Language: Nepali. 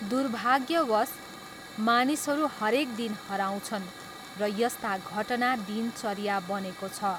दुर्भाग्यवश, मानिसहरू हरेक दिन हराउँछन् र यस्ता घटना दिनचर्या बनेको छ।